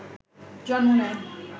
জন্ম নেয়